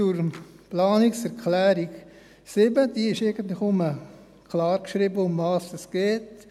Zur Planungserklärung 7: In dieser steht eigentlich klar geschrieben, worum es geht: